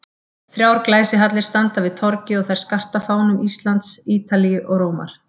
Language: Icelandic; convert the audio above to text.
Þrjár glæsihallir standa við torgið og þær skarta fánum Íslands, Ítalíu og Rómar.